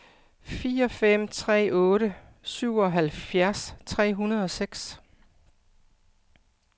fire fem tre otte syvoghalvfjerds tre hundrede og seks